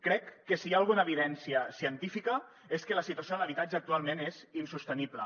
crec que si hi ha alguna evidència científica és que la situació de l’habitatge actualment és insostenible